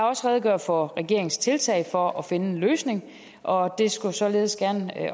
også redegjort for regeringens tiltag for at finde en løsning og det skulle således